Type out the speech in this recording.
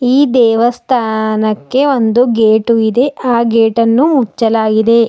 ಈ ದೇವಸ್ಥಾನಕ್ಕೆ ಒಂದು ಗೇಟು ಇದೆ ಆ ಗೇಟ್ ಅನ್ನು ಉಚ್ಚಲಾಗಿದೆ.